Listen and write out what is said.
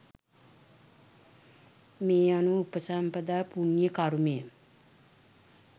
මේ අනුව උපසම්පදා පුණ්‍ය කර්මය